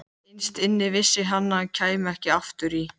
Innst inni vissi hann að hann kæmi ekki aftur í